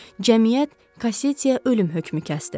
Cəmiyyət Cassettiye ölüm hökmü kəsdi.